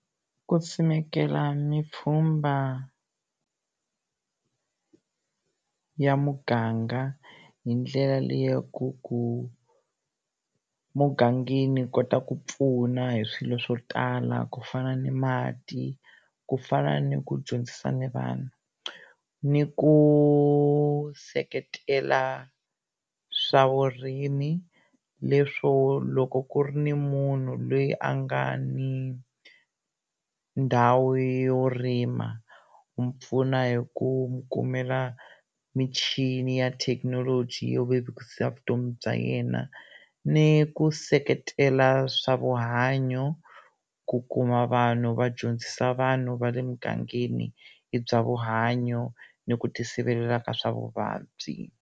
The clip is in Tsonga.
Ku ni pfhumba ya muganga hi ndlela leyaku ku mugangeni ku kota ku pfuna hi swilo swo tala ku fana ni mati ku fana ni ku dyondzisa ni vanhu ni ku seketela swa vurimi leswo loko ku ri ni munhu loyi a nga ni ndhawu yo rima u n'wu pfuna hi ku kumela michini ya thekinoloji yo vevukisa vutomi bya yena ni ku seketela swa vuhanyo ku kuma vanhu va dyondzisa vanhu va le mugangeni hi bya vuhanyo ni ku ti sivelela ka swa vuvabyi.